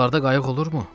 Buralarda qayıq olurmu?